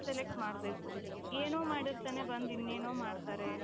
select ಮಾಡ್ಬೇಕು ಏನೋ ಮಾಡಿರ್ತಾರೆ ಬಂದ್ ಇನ್ನೇನೋ ಮಾಡ್ತಾರೆ.